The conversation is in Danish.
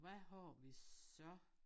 Hvad har vi så?